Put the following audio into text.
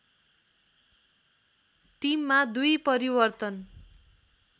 टिममा दुई परिवर्तन